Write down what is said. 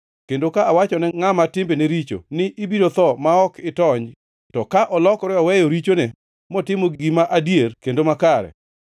Kendo ka awachone ngʼama timbene richo ni, ‘Ibiro tho ma ok itony,’ to ka olokore oweyo richone motimo gima adier kendo makare,